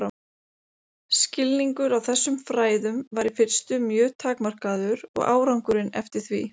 Af þessu má sjá að fílsraninn gagnast fílum líkt og handleggur gagnast okkur.